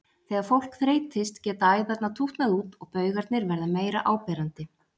Þegar fólk þreytist geta æðarnar tútnað út og baugarnir verða meira áberandi.